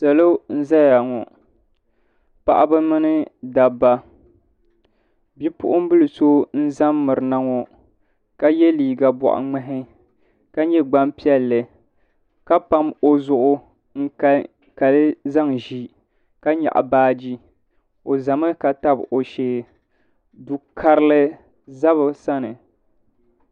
Salo n zaya ŋɔ paɣaba mini dabba bipuɣimbila so n za m mirina ŋɔ ka ye liiga boɣa ŋmahi ka nyɛ gbampiɛlli ka pam o zuɣu n kankali zaŋ ʒi ka nyaɣi baaji o zami ka tabi o shee Du'karili za bɛ sani.